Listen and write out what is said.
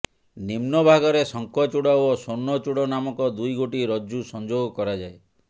ନିମ୍ନଭାଗରେ ଶଙ୍ଖଚୂଡ଼ ଓ ସ୍ୱର୍ଣ୍ଣଚୂଡ଼ ନାମକ ଦୁଇଗୋଟି ରଜ୍ଜୁ ସଂଯୋଗ କରାଯାଏ